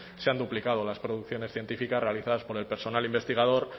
se han duplicado las producciones científicas realizadas por el personal investigador